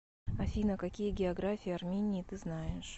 афина какие география армении ты знаешь